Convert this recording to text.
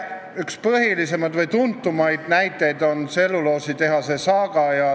Üks põhilisemaid või tuntumaid näiteid on tselluloositehase saaga.